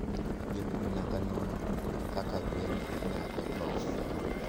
Jopur nyaka non kaka gwen nyago tong.